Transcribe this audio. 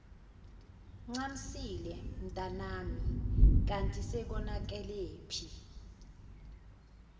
ncamisile mntanamikanti sekonakelephi